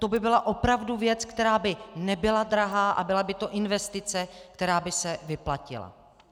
To by byla opravdu věc, která by nebyla drahá a byla by to investice, která by se vyplatila.